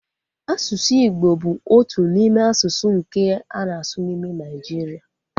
Asụsụ Igbo bụ otu n'ime asụsụ nke a na-asụ n'ime Nigeria